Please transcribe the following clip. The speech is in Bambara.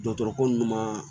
Dɔgɔtɔrɔ ko nunnu ma